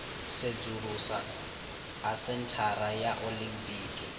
sedzulusa ha senthara ya olimpiki